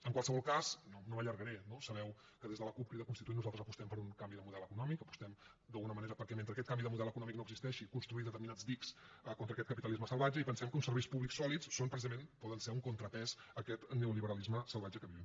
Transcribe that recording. en qualsevol cas no m’allargaré no sabeu que des de la cup crida constituent nosaltres apostem per un canvi de model econòmic apostem d’alguna manera per mentre aquest canvi de model econòmic no existeixi construir determinats dics contra aquest capitalisme salvatge i pensem que uns serveis públics sòlids són precisament poden ser un contrapès a aquest neoliberalisme salvatge que vivim